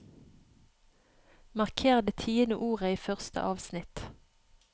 Marker det tiende ordet i første avsnitt